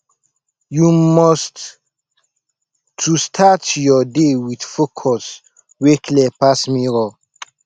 yu must to start yur day wit focus wey clear pass mirror